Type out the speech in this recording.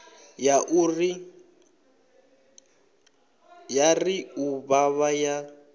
ya ri u vhavha ya